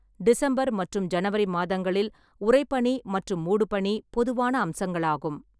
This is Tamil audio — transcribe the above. டிசம்பர் மற்றும் ஜனவரி மாதங்களில் உறைபனி மற்றும் மூடுபனி பொதுவான அம்சங்களாகும்.